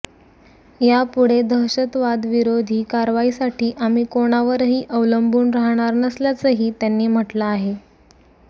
यापुढे दहशतवादविरोधी कारवाईसाठी आम्ही कोणावरही अवलंबून राहणार नसल्याचंही त्यांनी म्हटलं आहे